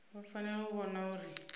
vha fanela u vhona uri